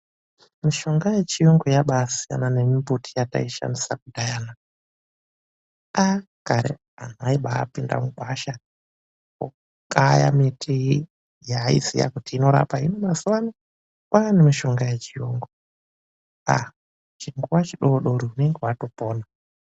Mishonga yechiyungu, yabaasiyana nemimbuti yataishandisa kudhaya. Kare anhu aibaapinda mugwasha kwakukaya miti yaaiziya kuti inorapa. Hino mazuva ano kwaane mishonga yechiyungu, chinguwa chidori-dori unenge watopona.